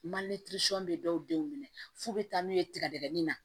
bɛ dɔw denw minɛ f'u bɛ taa n'u ye tigadigɛnin na